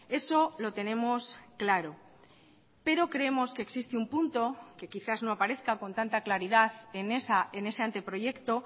eso lo tenemos claro pero creemos que existe un punto que quizás no aparezca con tanta claridad en ese anteproyecto